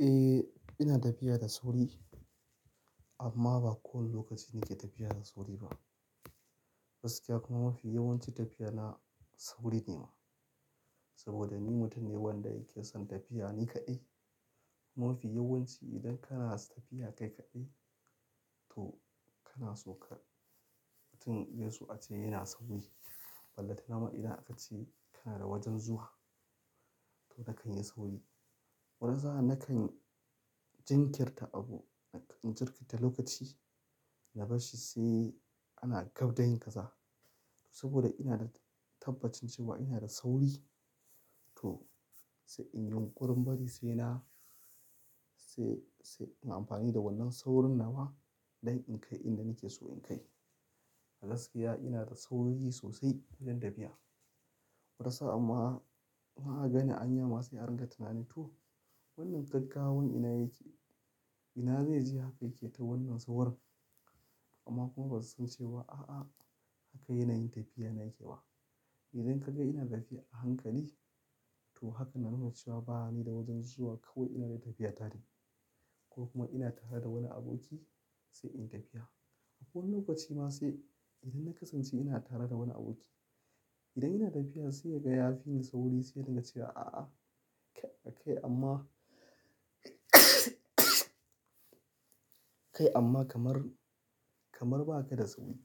Eh ina tafiya da sauri, amma ba kowane lokaci nake tafiya da sauri ba. Gaskiya kuma mafi yawancin tafiya na, sauri ne ma. Saboda ni mutum ne wanda yake son tafiya ni kaɗai. Mafi yawanci idan kana tafiya kai kaɗai toh, kana so ka mutum ya so a ce yana sauri. Balanta na ma idan aka ce kana da wajen zuwa to nakan yi sauri. Wana sa'an, nakan jinkirta abu, in jirkita lokaci, na barshi sai ana gab da yin kaza. Saboda ina da, tabbacin cewa ina da sauri to sai in yi ƙurumbari sai na, sai, sai na amfani da wannan saurin na wa dan in kai inda nake so in kai. A gaskiya ina da sauri sosai idan tafiya. Wata sa'an ma ko an gani hanya ma sai a ringa tunani toh, wannan gaggawan ina yake? Ina zai je haka yake ta wannan saurin. Amma kuma basu san cewa a'a haka yana yin tafiya na yake ba. Idan ka ga ina tafiya a hankali toh haka na nuna cewa ba ni da wajen zuwa kawai ina dai tafiya tare. Ko kuma ina tare da wani aboki sai in tafiya. A wasu lokaci ma sai idan na kasance ina tare da wani aboki, idan ina tafiya sai ya ga ya fi ni sauri sai ya dinga cewa a'a kai amma kai amma kamar, kamar ba ka da sauri.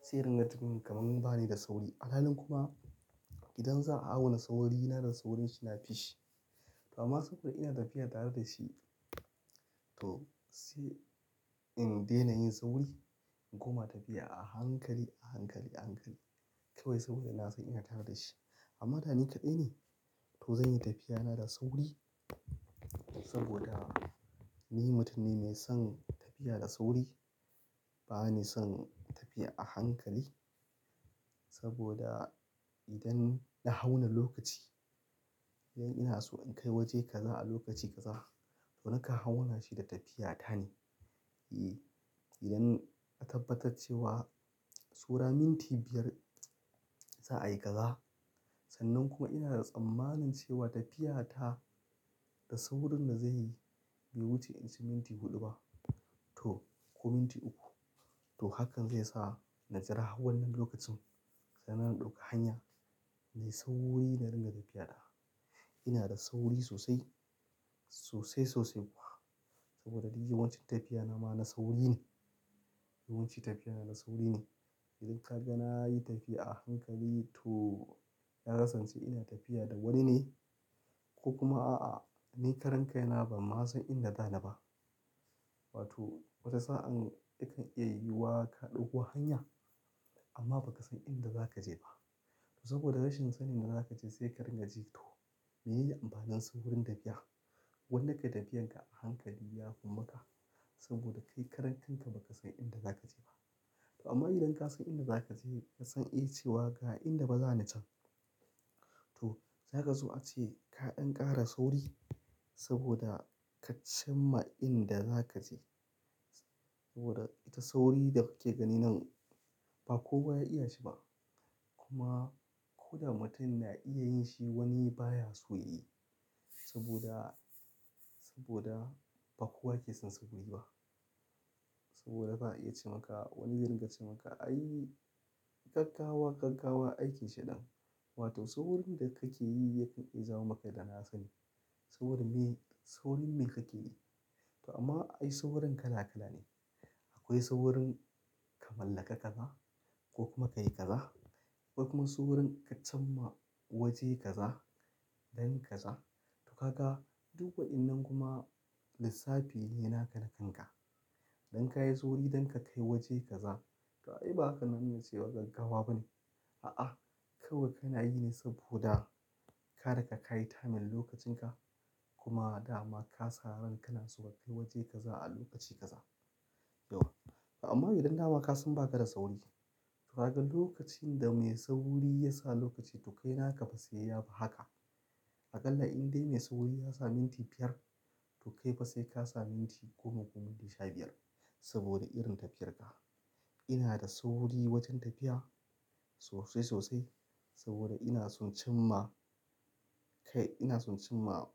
Sai ringa tunkaramin bani da sauri. Al halin kuma idan za a auna sauri ina da saurin shi na fishi. Kuma saboda ina tafiya tare da shi toh sai in daina yin sauri in koma tafiya a hankali, a hankali, a hankali, kawai saboda ina san ina tare da shi. Amma da ni kaɗai ne toh zan yi tafiya na da sauri saboda ni mutum ne mai son tafiya da sauri. Ba ni son tafiya a hankali saboda, idan na auna lokaci, idan ina so in kai waje kaza a lokaci kaza, toh nakan hawan mashin da tafiya tane. Eh, idan aka tabbatar cewa saura minti biyar za a yi kaza sannan kuma ina da tsammanin cewa tafiya ta, da saurin da zan yi bai wuce inci minti huɗu ba toh, ko minti uku to hakan zai sa na jira hau wannan lokacin. Sai na ɗauka hanya mai sauri na ringa tafiya da. Ina da sauri sosai, sosai sosai kuwa saboda duk yawancin tafiya na ma na sauri ne. Yawancin tafiya na na sauri ne. Idan ka ga na yi tafiya a hankali toh, ya kasance ina tafiya da wani ne ko kuma a'a ni karan kai na ba ma san inda za ni ba. Watoh wata sa'an na kan iya yiwuwa ka ɗauko hanya amma ba ka san inda za ka je ba. Saboda rashin sanin da za ka je sai ka ringa jin toh menene amfanin saurin tafiya? Goma ka tafiyar ka a hankali ya fi maka saboda kai karan kanka ba ka san inda za ka je ba. Amma idan ka san inda za ka je ka san eh cewa ga inda fa za ni can, toh, za ka so a ce ka ɗan ƙara sauri saboda ka cimma inda za ka je. Saboda ita sauri da kake gani nan ba kowa ya iya shi ba. Kuma ko da mutum na iya yin shi wani baya so yayi. Saboda, saboda ba kowa ke son sauri ba. Saboda ba iya ce maka wani zai ringa ce maka ai gaggawa gaggawa aiki shinan. Watoh saurin da kake yi yake iya jawo maka dana sanni. Saurin me, saurin me kake yi? To amma ai saurin kala kala ne. Akwai saurin, ka mallaka kaza ko kuma ka yi kaza ko kuma saurin ka cimma waje kaza, dan kaza. Sannan kuma ina da tsammanin cewa tafiya ta da saurin da zai yi bai wuce inci minti huɗu ba, toh, ko minti uku to hakan zai sa na jira hau wanni lokacin. Don ka iso gidanka kayi wajen kaza. Ba inda ake yi sai wajen tawafin. Ah, ah, kawai kana yi ne saboda, karka kai ta hanyar lokacin ka. Kuma, dama, ka sa rai kana son ka kai wajen kaza a lokacin kaza. Toh, ama idan dama ka san baka da sauri, toh, a duk lokacin da mai sauri ya sa lokaci toh naka sai yafi haka. Akallar in dai mai sauri yasa minti biyar toh kai fa sai ka sa minti goma ko minti sha biyar saboda irin tafiyarka. Inna da sauri wajen tafiya, sosai sosai, saboda in so cimma, kai, inna so cimma.